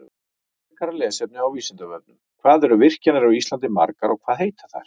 Frekara lesefni á Vísindavefnum: Hvað eru virkjanir á Íslandi margar og hvað heita þær?